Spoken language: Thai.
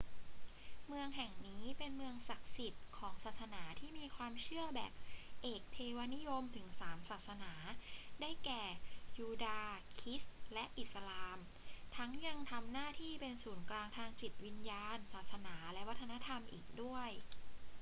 เมืองแห่งนี้เป็นเมืองศักดิ์สิทธิ์ของศาสนาที่มีความเชื่อแบบเอกเทวนิยมถึงสามศาสนา ได้แก่ ยูดาห์ คริสต์ และอิสลาม ทั้งยังทำหน้าที่เป็นศูนย์กลางทางจิตวิญญาณ ศาสนา และวัฒนธรรมอีกด้วย